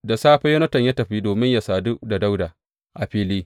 Da safe Yonatan ya tafi domin yă sadu da Dawuda a fili.